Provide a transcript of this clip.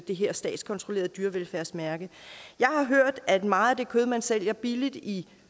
det her statskontrollerede dyrevelfærdsmærke jeg har hørt at meget af det kød man sælger billigt i